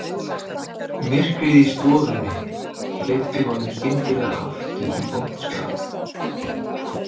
Myrkrið í stofunni hleypti honum skyndilega aftur í vont skap